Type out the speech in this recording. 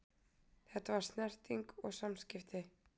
Þetta var snerting og samskipti.